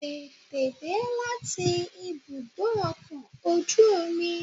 Tètè dé láti ibùdó ọkọ̀ ojú omi